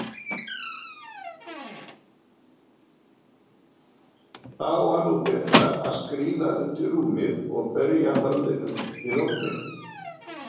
Þá var nú betra að skríða undir rúm og berja höfðinu við ofninn.